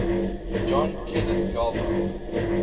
john kenneth galbraith